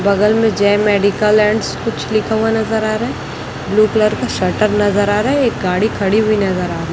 बगल में जय मेडिकल एंड्स कुछ लिखा हुआ नजर आ रहा है। ब्लू कलर की शटर नजर आ रहा है। एक गाड़ी खड़ी हुई नजर आ रही --